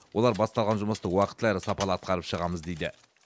олар басталған жұмысты уақытылы әрі сапалы атқарып шығамыз дейді